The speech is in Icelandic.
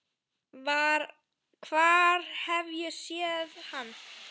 Hvar hef ég séð hann?